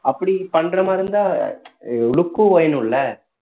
அப்படி பண்ற மாதிரி இருந்தா look உம் வேணும்ல